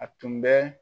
A tun bɛ